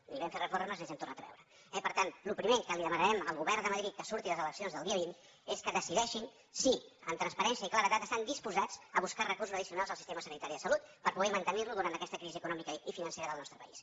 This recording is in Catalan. ni vam fer reformes ni ens hem tornat a veure eh per tant el primer que demanarem al govern de madrid que surti de les eleccions del dia vint és que decideixin si amb transparència i claredat estan disposats a buscar recursos addicionals al sistema sanitari de salut per poder mantenir lo durant aquesta crisi econòmica i financera del nostre país